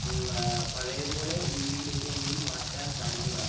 മ്മ് അഹ് പഴയപോലെ രീതിയിലെക്ക് മാറ്റാൻ സാധിക്കുന്ന ആണ്